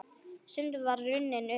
Stundin var runnin upp.